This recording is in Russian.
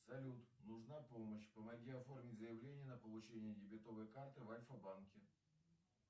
салют нужна помощь помоги оформить заявление на получение дебетовой карты в альфа банке